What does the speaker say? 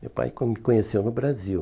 Meu pai com me conheceu no Brasil.